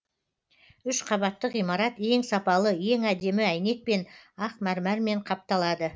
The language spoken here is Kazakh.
үш қабатты ғимарат ең сапалы ең әдемі әйнекпен ақ мәрмәрмен қапталады